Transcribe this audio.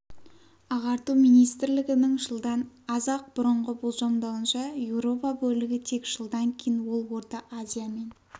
ағарту министрлігінің жылдан аз-ақ бұрынғы болжамдауынша еуропа бөлігі тек жылдан кейін ол орта азия мен